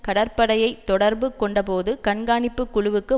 கடற்படையைத் தொடர்பு கொண்டபோது கண்காணிப்பு குழுவுக்கு